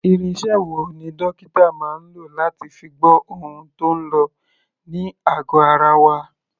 Irinṣẹ́ wo ni dókítà máa ń lò láti fi gbọ́ ohun tó ń lọ ní àgọ̀ ara wa?